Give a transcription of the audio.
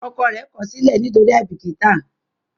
ọkọ rẹ kosile nitori aibikita.